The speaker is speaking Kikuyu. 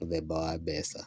mũthemba wa mbeca.